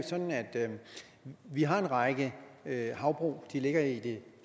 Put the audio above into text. vi har en række havbrug de ligger i det